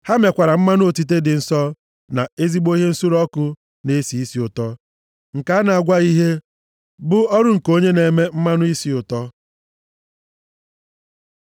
Ha mekwara mmanụ otite dị nsọ, na ezigbo ihe nsure ọkụ na-esi isi ụtọ nke a na-agwaghị ihe; bụ ọrụ nke onye na-eme mmanụ isi ụtọ.